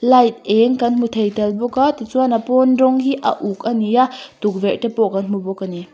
h t eng kan hmu thei tel bawk a ti chuan a pawn rawng hi a uk a ni a tukverh te pawh kan hmu bawk a ni.